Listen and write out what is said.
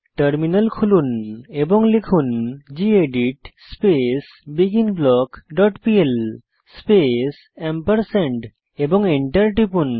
terminal খুলুন এবং লিখুন gedit space begin block dot PL space এবং এন্টার টিপুন